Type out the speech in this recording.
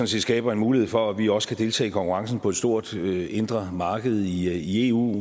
set skaber en mulighed for at vi også kan deltage i konkurrencen på et stort indre marked i eu